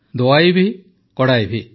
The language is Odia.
ଦୱାଇ ଭି କଡ଼ାଇ ଭି